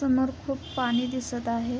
समोर खूप पाणी दिसत आहे.